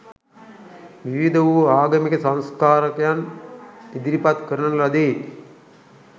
විවිධ වූ ආගමික සංස්කාරකයන් ඉදිරිපත් කරන ලදී.